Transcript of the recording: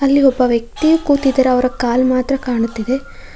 ಅಲ್ಲಿ ಒಬ್ಬ ವ್ಯಕ್ತಿಯು ಕೂತಿದ್ದಾರೆ ಅವರ ಕಾಲ್ ಮಾತ್ರ ಕಾಣುತ್ತಿದೆ.